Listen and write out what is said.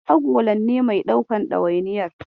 Agolan ne mai daukan ɗawainiyar.